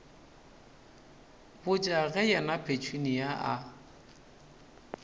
botša ge yena petunia a